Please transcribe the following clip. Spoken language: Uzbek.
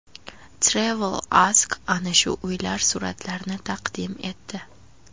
TravelAsk ana shu uylar suratlarini taqdim etdi .